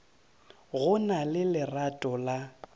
go na le lerato la